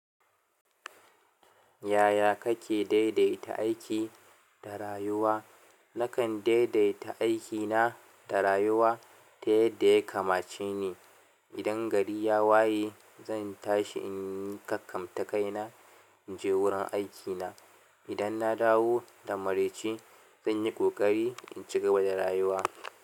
Yaya kake daidaita aiki da rayuwa? Nakan daidaita aikina da rayuwa ta yadda ya kamace ni. Idan gari ya waye, zan tashi in yi kakkamta kaina in je wurin aikina. Idan na dawo da maraici, zan yi ƙoƙari in ci gaba da rayuwa.